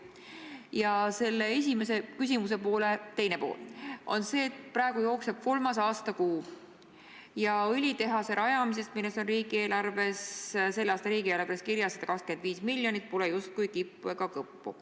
Ja minu küsimuse teine pool on selle kohta, et praegu jookseb aasta kolmas kuu, aga õlitehase rajamisest, milleks on selle aasta riigieelarves kirjas 125 miljonit, pole justkui kippu ega kõppu.